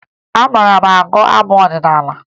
Ị maara agụ abụ ọdịnaala?